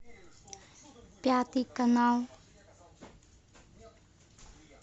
пятый канал